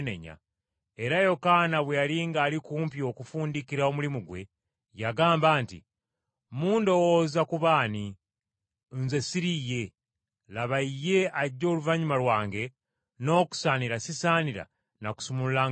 Era Yokaana bwe yali ng’ali kumpi okufundikira omulimu gwe, yagamba nti, ‘Mundowooza kuba ani? Nze siri ye. Laba Ye ajja oluvannyuma lwange, n’okusaanira sisaanira na kusumulula ngatto ze.’